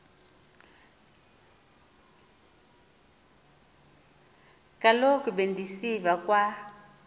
kaloku bendisiva kwa